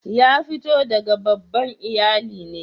Ya fito daga babban iyallin ne?